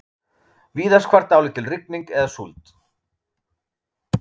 Víðast hvar dálítil rigning eða súld